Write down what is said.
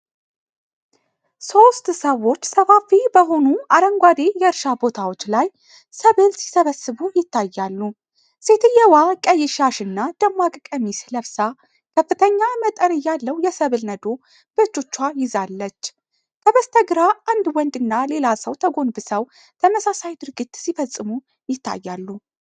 ሶስት ሰዎች ሰፋፊ በሆኑ አረንጓዴ የእርሻ ቦታዎች ላይ ሰብል ሲሰበስቡ ይታያሉ። ሴትየዋ ቀይ ሻሽና ደማቅ ቀሚስ ለብሳ ከፍተኛ መጠን ያለው የሰብል ነዶ በእጆቿ ይዛለች። ከበስተግራ አንድ ወንድና ሌላ ሰው ተጎንብሰው ተመሳሳይ ድርጊት ሲፈጽሙ ይታያሉ።